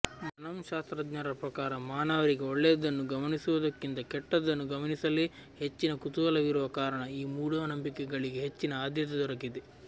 ಮನಃಶಾಸ್ತ್ರಜ್ಞರ ಪ್ರಕಾರ ಮಾನವರಿಗೆ ಒಳ್ಳೆಯದನ್ನು ಗಮನಿಸುವುದಕ್ಕಿಂತ ಕೆಟ್ಟದ್ದನ್ನು ಗಮನಿಸಲೇ ಹೆಚ್ಚಿನ ಕುತೂಹಲವಿರುವ ಕಾರಣ ಈ ಮೂಢನಂಬಿಕೆಗಳಿಗೆ ಹೆಚ್ಚಿನ ಆದ್ಯತೆ ದೊರಕಿದೆ